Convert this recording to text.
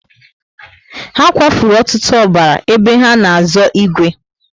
Ha kwa furu ọtụtụ ọbara ébé ha na azo igwe